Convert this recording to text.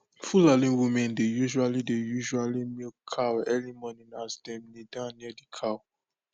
fulani women dey usually dey usually milk cow early morning as dem kneel down near the cow